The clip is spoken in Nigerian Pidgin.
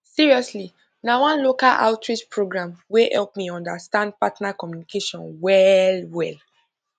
seriously na one local outreach program wey help me understand partner communication well well